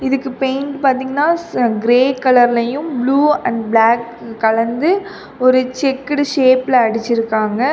இதுக்கு பெயிண்ட் பாத்திங்னா ஸ கிரே கலர்லயும் ப்ளூ அண்ட் ப்ளாக் கலந்து ஒரு செக்குடு ஷேப்ல அடிச்சிருகாங்க.